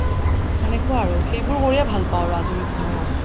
তেনেকুৱা আৰু সেইবোৰ কৰিয়ে ভাল পাও আৰু আজৰি সময়ত